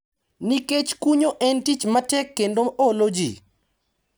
Nikech kunyo en tich matek kendo olo ji.